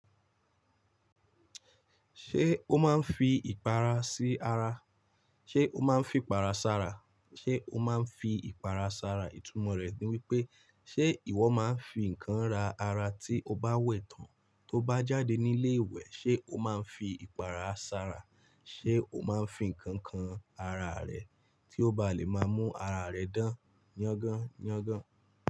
Ṣé o máa ń fi ìpara sí ara? Ṣé o máa ń fìpara sára? Ṣé o máa ń fi ìpara sára? Ìtumọ̀ rẹ̀ ni wípé, ṣé ìwọ máa ń fi nǹkan ra ara tí o bá wẹ̀ tán, tóo bá jáde nílé ìwẹ̀, ṣé o máa ń fi ìpara sára? Ṣé o máa ń fi nǹkan kan ara rẹ tí ó báa lè máa mú ara rẹ dán yángán yángán?